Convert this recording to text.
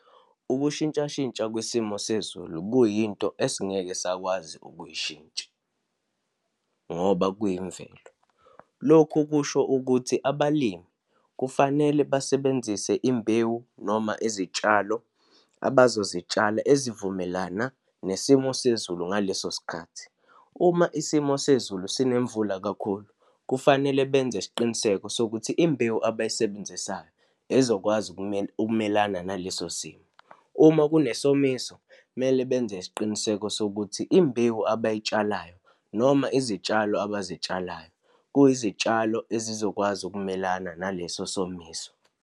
Ukushintshashintsha kwesimo sezulu kuyinto esingeke sakwazi ukuyishintsha, ngoba kuyimvelo. Lokhu kusho ukuthi abalimi kufanele basebenzise imbewu, noma izitshalo abazozitshala ezivumelana nesimo sezulu ngaleso sikhathi. Uma isimo sezulu sinemvula kakhulu, kufanele benze isiqiniseko sokuthi imbewu abayisebenzisayo ezokwazi ukumelana naleso simo. Uma kunesomiso, kumele benze isiqiniseko sokuthi imbewu abayitshalayo, noma izitshalo abazitshalayo kuyizitshalo ezizokwazi ukumelana naleso somiso.